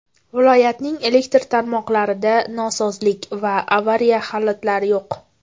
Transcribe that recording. Viloyatning elektr tarmoqlarida nosozlik va avariya holatlari yo‘q.